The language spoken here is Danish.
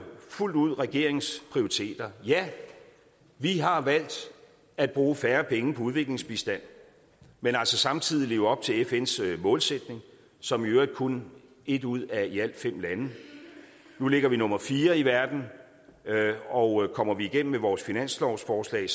fuldt ud regeringens prioriteter ja vi har valgt at bruge færre penge på udviklingsbistand men altså samtidig leve op til fns målsætning som i øvrigt kun ét ud af i alt fem lande nu ligger vi nummer fire i verden og kommer vi igennem med vores finanslovsforslag